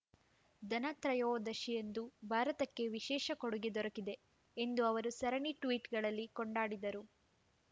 ಧನತ್ರಯೋದಶಿಯಂದು ಭಾರತಕ್ಕೆ ವಿಶೇಷ ಕೊಡುಗೆ ದೊರಕಿದೆ ಎಂದು ಅವರು ಸರಣಿ ಟ್ವೀಟ್‌ಗಳಲ್ಲಿ ಕೊಂಡಾಡಿದರು